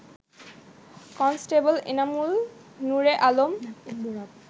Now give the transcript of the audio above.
constable Enamul Nure Alam